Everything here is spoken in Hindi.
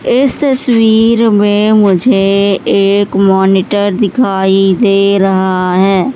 इस तस्वीर में मुझे एक मॉनिटर दिखाई दे रहा है।